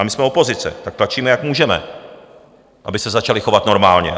A my jsme opozice, tak tlačíme, jak můžeme, aby se začali chovat normálně.